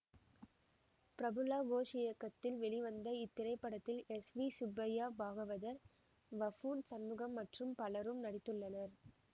பிரபுலா கோஷ் இயக்கத்தில் வெளிவந்த இத்திரைப்படத்தில் S V Subbaiah Bhagavathar buffoon Shanmugam மற்றும் பலரும் நடித்துள்ளனர்